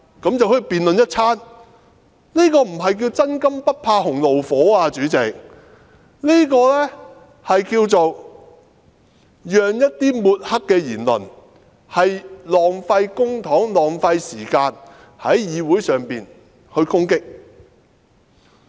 主席，這不是"真金不怕洪爐火"，而是讓一些抹黑的言論，浪費公帑、浪費時間在議會上攻擊議員。